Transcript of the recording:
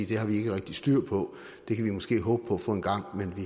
det har vi ikke rigtig styr på det kan vi måske håbe på at få engang men vi